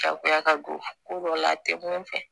Jagoya ka bon ko dɔ la a tɛ mun fɛ